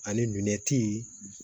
Ani